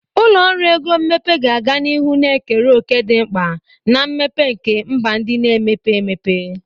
Ụlọ ọrụ ego mmepe ga-aga n'ihu na-ekere òkè dị mkpa na mmepe nke mba ndị na-emepe emepe.